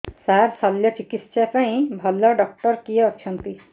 ସାର ଶଲ୍ୟଚିକିତ୍ସା ପାଇଁ ଭଲ ଡକ୍ଟର କିଏ ଅଛନ୍ତି